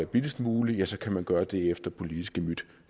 billigst muligt ja så kan man gøre det efter politisk gemyt